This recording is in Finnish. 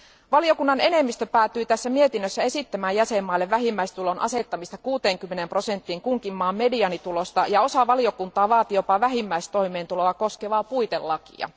Valiokunnan enemmistö päätyi tässä mietinnössä esittämään jäsenmaille vähimmäistulon asettamista 60 prosenttiin kunkin maan mediaanitulosta ja osa valiokunnan jäsenistä vaati jopa vähimmäistoimeentuloa koskevaa puitelakia.